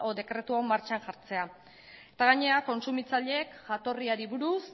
dekretu hau martxan jartzea eta gainera kontsumitzaileek jatorriari buruz